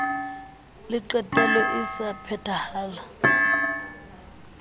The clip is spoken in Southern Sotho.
le qetelo e sa phethahalang